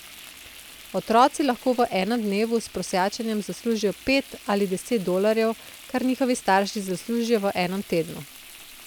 Otroci lahko v enem dnevu s prosjačenjem zaslužijo pet ali deset dolarjev, kar njihovi starši zaslužijo v enem tednu.